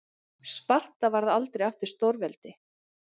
sparta varð aldrei aftur stórveldi